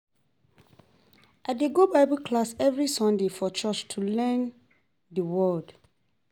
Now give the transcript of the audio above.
I dey go Bible class every Sunday for church to learn the word.